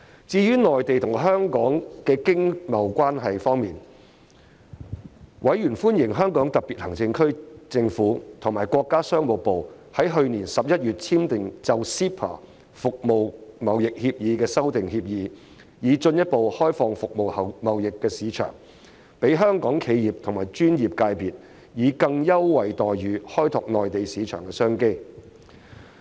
至於內地與香港的商貿關係方面，委員歡迎香港特別行政區政府與國家商務部於去年11月簽訂就 CEPA《服務貿易協議》的修訂協議，以進一步開放服務貿易的市場，讓香港企業和專業界別以更優惠待遇開拓內地市場的商機。